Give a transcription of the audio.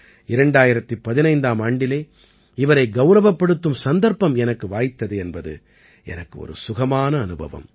2015ஆம் ஆண்டிலே இவரை கௌரவப்படுத்தும் சந்தர்ப்பம் எனக்கு வாய்த்தது என்பது எனக்கு ஒரு சுகமான அனுபவம்